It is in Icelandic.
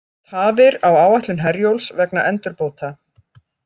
Tafir á áætlun Herjólfs vegna endurbóta